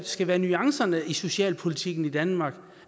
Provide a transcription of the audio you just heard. skal være nuancerne i socialpolitikken i danmark